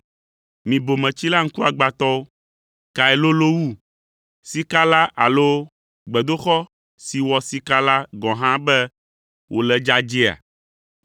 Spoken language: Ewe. Mi bometsila ŋkuagbãtɔwo! Kae lolo wu, sika la alo gbedoxɔ si wɔ sika la gɔ̃ hã be wòle dzadzɛea?